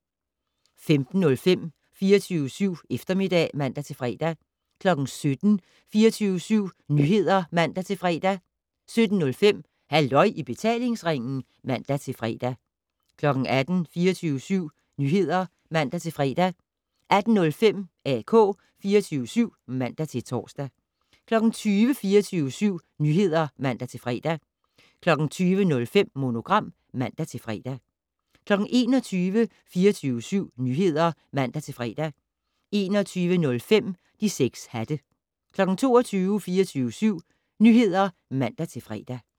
15:05: 24syv Eftermiddag (man-fre) 17:00: 24syv Nyheder (man-fre) 17:05: Halløj i betalingsringen (man-fre) 18:00: 24syv Nyheder (man-fre) 18:05: AK 24syv (man-tor) 20:00: 24syv Nyheder (man-fre) 20:05: Monogram (man-fre) 21:00: 24syv Nyheder (man-fre) 21:05: De 6 hatte 22:00: 24syv Nyheder (man-fre)